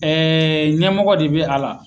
Ɛɛ ɲɛmɔgɔ de bɛ a la